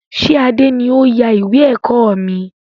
Ṣé Adé ni ó yà ìwé ẹ̀kọ́ mi?